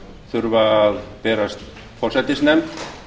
þurfa að berast forsætisnefnd